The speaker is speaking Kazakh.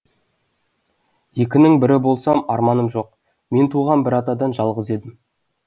екінің бірі болсам арманым жоқ мен туған бір атадан жалғыз едім